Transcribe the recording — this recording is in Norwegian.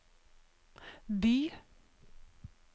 by